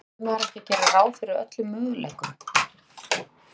Verður maður ekki að gera ráð fyrir öllum möguleikum?